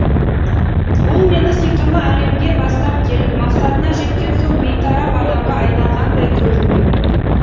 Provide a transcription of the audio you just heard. ол мені сиқырлы әлемге бастап келіп мақсатына жеткен соң бейтарап адамға айналғандай көрінді